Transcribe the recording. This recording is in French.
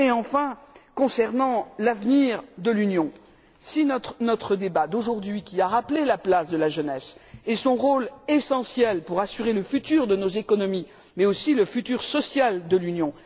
Enfin, concernant l'avenir de l'Union, notre débat d'aujourd'hui a rappelé la place de la jeunesse et son rôle essentiel pour assurer le futur de nos économies, ainsi que le futur social de l'Union.